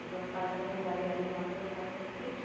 അതിപ്പം പഠനത്തിൻറെ കാര്യമായാലും ബാക്കിയുള്ള കാര്യങ്ങളൊക്കെ